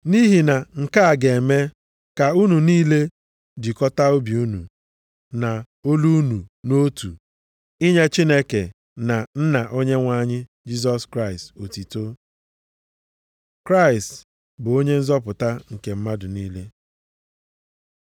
Nʼihi na nke a ga-eme ka unu niile jikọtaa obi unu, na olu unu nʼotu, inye Chineke na Nna Onyenwe anyị Jisọs Kraịst otuto. Kraịst bụ Onye Nzọpụta nke mmadụ niile